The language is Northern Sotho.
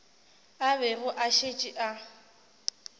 a bego a šetše a